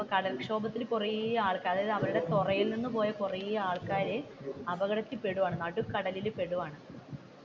കടൽ ക്ഷോഭത്തിന് കുറെ ആൾക്കാർ അതായത് അവരുടെ തുറയിൽ നിന്ന് പോലും കുറെ ആൾക്കാർ അപകടത്തിൽ പെടുകയാണ് നടുക്കടലിൽ പെടുകയാണ്.